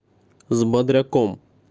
с бодряком